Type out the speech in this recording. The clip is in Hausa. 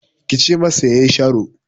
Ki ce masa ya yi sharo!